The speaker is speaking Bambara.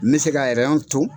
N bɛ se ka ton